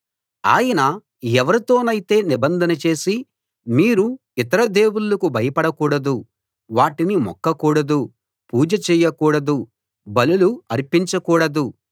ఆయన ఎవరితోనైతే నిబంధన చేసి మీరు ఇతర దేవుళ్ళకు భయపడకూడదు వాటికి మొక్కకూడదు పూజ చేయకూడదు బలులు అర్పించకూడదు